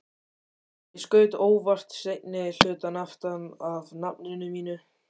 Ég skaut óvart seinni hlutann aftan af nafninu mínu.